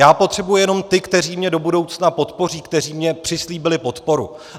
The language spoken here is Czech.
Já potřebuji jenom ty, kteří mě do budoucna podpoří, kteří mi přislíbili podporu.